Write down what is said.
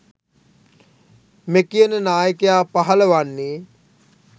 මෙකියන නායකයා පහළ වන්නේ